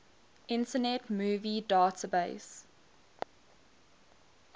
internet movie database